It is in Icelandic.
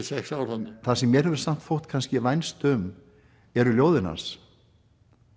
sex ár þarna þar sem mér hefur þótt kannski vænst um eru ljóðin hans